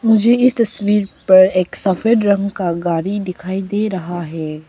मुझे इस तस्वीर पर एक सफेद रंग का गाड़ी दिखाई दे रहा है।